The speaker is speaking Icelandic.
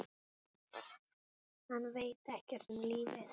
Hann veit ekkert um lífið.